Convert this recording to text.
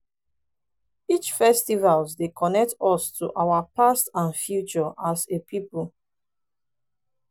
each festival dey connect us to our past and future as a pipo.